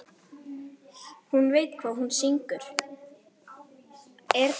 Hún veit hvað hún syngur.